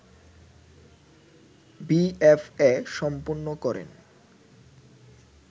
BFA সম্পন্ন করেন